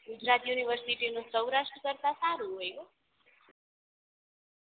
Gujarat university નું સૌરાસ્ટ્ર કરતાં સારું હોય હો